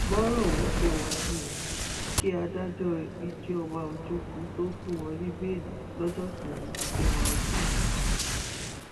bọrọ ọhún ṣe wá nìyẹn kí adájọ ijeoma ojukwu tóó fún wọn ní bẹẹlí lọjọ kẹrin oṣù kẹwàá ọdún yìí